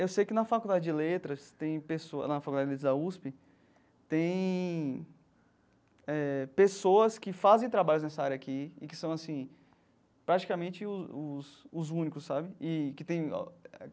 Eu sei que na Faculdade de Letras tem pessoa nas faculdades da USP tem eh pessoas que fazem trabalhos nessa área aqui e que são assim praticamente os os únicos, sabe? E que tem.